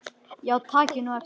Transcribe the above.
Já takið nú eftir.